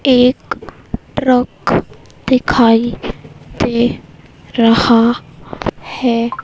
एक ट्रक दिखाई दे रहा हैं।